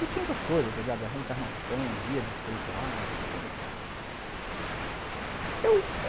E tinha outras coisas, a reencarnação, guias espirituais, essa coisa toda.